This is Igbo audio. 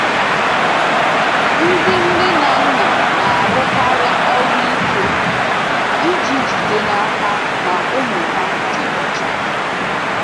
Ndị nne na nna na-arụkarị ọrụ ike iji jide n’aka na ụmụ ha dị ọcha.